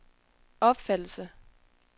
opfattelse